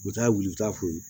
U taa wili u t'a foyi